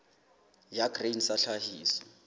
ya grain sa ya tlhahiso